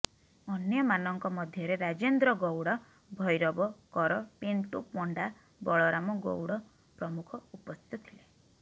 ଅନ୍ୟମାନଙ୍କ ମଧ୍ୟରେ ରାଜେନ୍ଦ୍ର ଗୌଡ଼ ଭୈରବ କର ପିଣ୍ଟୁ ପଣ୍ଡା ବଳରାମ ଗୌଡ଼ ପ୍ରମୁଖ ଉପସ୍ଥିତ ଥିଲେ